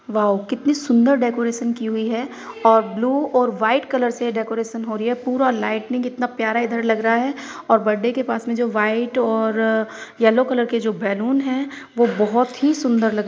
Wow कितनी सुंदर decoration की हुई है और ब्लू और वाइट कलर से डेकोरेशन हो रही है पूरा लाइटिंग इतना प्यारा इधर लग रहा है और बड़े के पास में जो वाइट और येलो कलर के जो बैलून है वो बहुत ही सुंदर लग रहे है।